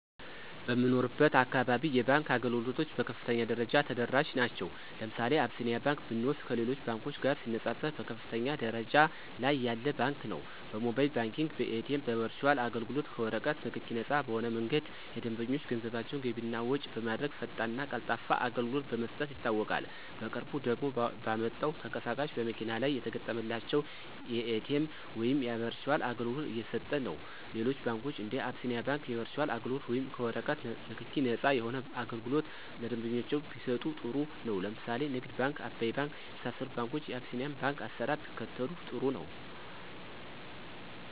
በምኖርበት አካባቢ የባንክ አገልግሎቶች በከፍተኛ ደረጃ ተደራሽ ናቸዉ። ለምሳሌ አብሲኒያ ባንክ ብንወስድ ከሌሎች ባንኮች ጋር ሲነፃፀር በከፍተኛ ደረጃ ላይ ያለ ባንክ ነው። በሞባይል ባንኪንግ፣ በኤቲኤም፣ በበርቹአል አገልግሎት፣ ከወረቀት ንክኪ ነፃ በሆነ መንገድ ደንበኞች ገንዘባቸውን ገቢ እና ወጭ በማድረግ ፈጣንና ቀልጣፋ አገልግሎት በመስጠት ይታወቃል። በቅርቡ ደግሞ ባመጣው ተንቀሳቃሽ በመኪና ላይ የተገጠመላቸው የኤቲኤም ወይም የበርቹአል አገልግሎት እየሰጠነው። ሌሎች ባንኮች እንደ አቢስኒያ ባንክ የበርቹአል አገልግሎት ወይም ከወረቀት ንክኪ ነፃ የሆነ አገልግሎት ለደንበኞቻቸው ቢሰጡ ጥሩ ነው። ለምሳሌ ንግድ ባንክ፣ አባይ ባንክ የመሳሰሉት ባንኮች የቢሲኒያን ባንክ አሰራር ቢከተሉ ጥሩ ነው።